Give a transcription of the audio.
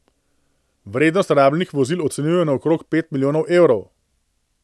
Vrednost rabljenih vozil ocenjujejo na okrog pet milijonov evrov.